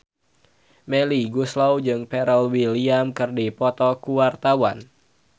Melly Goeslaw jeung Pharrell Williams keur dipoto ku wartawan